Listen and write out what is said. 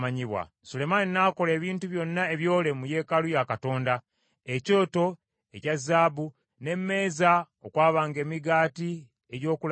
Sulemaani n’akola ebintu byonna ebyole mu yeekaalu ya Katonda: ekyoto ekya zaabu, n’emmeeza okwabanga emigaati egy’okulaga,